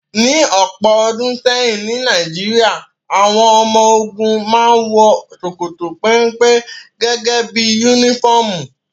Ní ọ̀pọ̀ ọdún sẹ́yìn ní Nàìjíríà, àwọn ọmọ ogun màa ǹ wọ ṣokoto pénpé gẹ́gẹ́ bí unifọmú